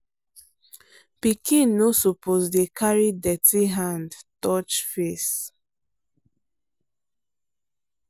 pikin no suppose dey carry dirty hand touch face.